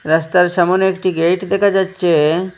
রাস্তার সামোনে একটি গেট দেখা যাচ্ছে।